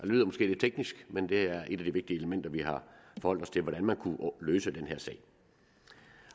lyder måske lidt teknisk men det er et af de vigtige elementer vi har forholdt os til nemlig hvordan man kunne løse den her sag